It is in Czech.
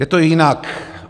Je to jinak.